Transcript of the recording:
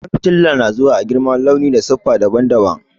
Ƙwan fitila na zuwa a girma, launi da siffa daban-daban.